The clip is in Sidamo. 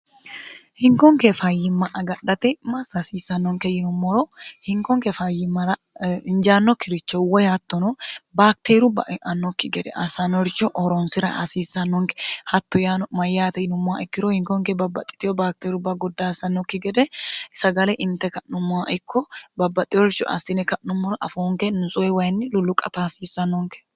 hinkonke fayyimma agadhate massa hasiissannonke yinummoro hinkonke fayyimmara hinjaanno kirichouwoy hattono baakteeru bae'annokki gede assanorchu ooroonsira hasiissannonke hatto yno mayyaate yinummowa ikkiro hinkonke babbaxxitiho baakteerubba goddaassannokki gede sagale inte ka'nummowa ikko babbaxxeorchu assine ka'nummoro afoonke nutsue wayinni lullu qataasiissannonke